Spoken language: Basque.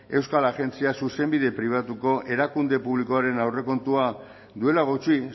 euskal agentzia zuzenbide pribatuko erakunde publikoaren aurrekontua duela gutxi